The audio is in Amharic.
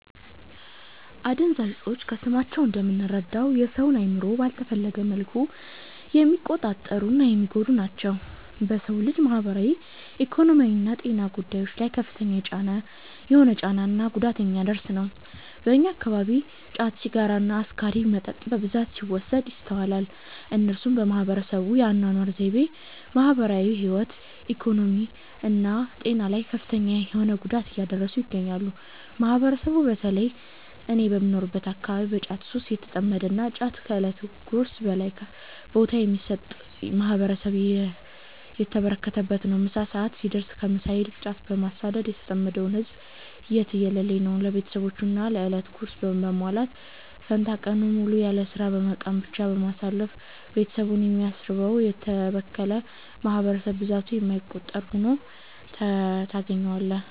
አደንዛዥ እፆች ከስማቸው እንደምንረዳው የ ሰውን አእምሮ ባልተፈለገ መልኩ የሚቆጣጠሩ እና የሚጎዱ ናቸው። በ ሰው ልጅ ማህበራዊ፣ ኢኮኖሚያዊና ጤና ጉዳዮች ላይ ከፍተኛ የሆነ ጫና እና ጉዳት የሚያደርስ ነው። በእኛ አከባቢ ጫት፣ ሲጋራ እና አስካሪ መጠጥ በብዛት ሲወሰድ ይስተዋላል። እነሱም በህብረተሰቡ የ አናኗር ዘይቤ፣ ማህበራዊ ህይወት፣ ኢኮኖሚ እና ጤና ላይ ከፍተኛ የሆነ ጉዳት እያደረሱ ይገኛሉ። ማህበረሰቡ በ ተለይም እኔ በምኖርበት አከባቢ በ ጫት ሱስ የተጠመደ እና ጫትን ከ እለት ጉርሱ በላይ ቦታ የሚሰጥ ማህበረሰብ የተበራከተበት ነው። ምሳ ሰዐት ሲደርስ ከ ምሳ ይልቅ ጫትን በማሳደድ የተጠመደው ህዝብ የትየለሌ ነው። ለቤትሰቦቹ የ እለት ጉርስ በማሟላት ፈንታ ቀኑን ሙሉ ያለስራ በመቃም ብቻ በማሳለፍ ቤትሰቡን የሚያስርበው: የተበከለ ማህበረሰብ ብዛቱ የማይቆጠር ሁኖ ታገኛዋለህ።